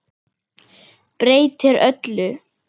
Breytir öllu.